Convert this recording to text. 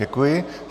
Děkuji.